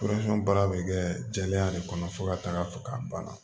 baara bɛ kɛ jɛlenya de kɔnɔ fo ka taa fɔ k'a banna